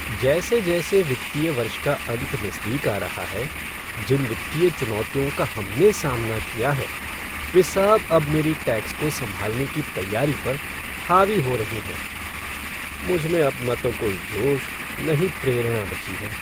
जैसे जैसे वित्तीय वर्ष का अंत नज़दीक आ रहा है, जिन वित्तीय चुनौतियों का हमने सामना किया है, वे सब अब मेरी टैक्स को सँभालने की तैयारी पर हावी हो रही हैं। मुझमें अब न तो कोई जोश न ही प्रेरणा बची है।